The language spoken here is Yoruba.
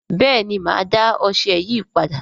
bẹẹni má dá ọṣẹ yí pàdà